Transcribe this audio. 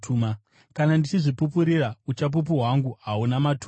“Kana ndichizvipupurira, uchapupu hwangu hahuna maturo.